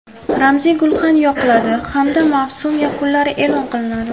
Ramziy gulxan yoqiladi hamda mavsum yakunlari e’lon qilinadi.